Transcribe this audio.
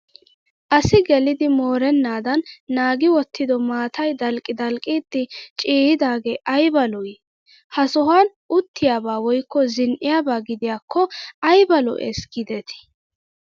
Asi gelidi moorennaadan naagi wottido maatayi dalqqi dalqqidi ciiyyidaagee ayiba lo''ii. Ha sohuwaan uttigiyaaba woyikko zin'iigiyaaba gidiyaakko ayiba lo'es giideti.